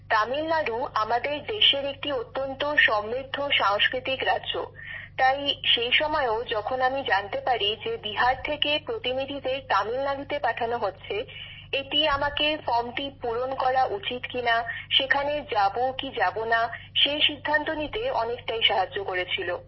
তামিলনাড়ু আমাদের দেশের একটি অত্যন্ত সমৃদ্ধ সাংস্কৃতিক রাজ্য তাই সেই সময়েও যখন আমি জানতে পারি যে বিহার থেকে প্রতিনিধিদের তামিলনাড়ুতে পাঠানো হচ্ছে এটি আমাকে ফর্মটি পূরণ করা উচিত কিনা সেখানে যাব কিনা সেই সিদ্ধান্ত নিতে অনেকটাই সাহায্য করেছিল